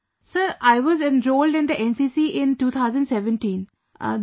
Sir I was enrolled in the NCC in 2017; these